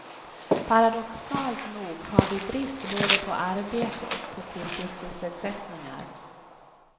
Paradoxalt nog har vi brist både på arbete och på fritidssysselsättningar.